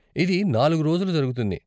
ఇది నాలుగు రోజులు జరుగుతుంది.